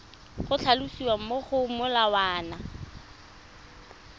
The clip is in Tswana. go tlhalosiwa mo go molawana